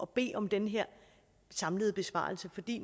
bede om den her samlede besvarelse fordi